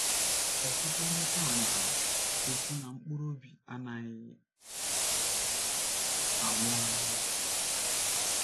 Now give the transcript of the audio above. Ọtụtụ ndị taa na - ekwu na mkpụrụ obi anaghị anwụ anwụ.